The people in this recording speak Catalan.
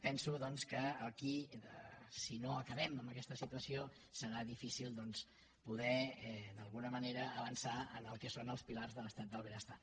penso doncs que aquí si no acabem amb aquesta situació serà difícil doncs poder d’alguna manera avançar en el que són els pilars de l’estat del benestar